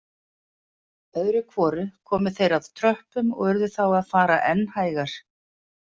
Öðru hvoru komu þeir að tröppum og urðu þá að fara enn hægar.